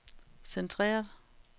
centreret